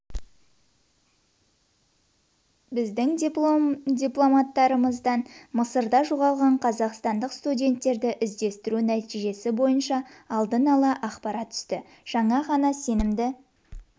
біздің дипломаттарымыздан мысырда жоғалған қазақстандық студенттерді іздестіру нәтижесі бойынша алдын ала ақпарат түсті жаңа ғана сенімді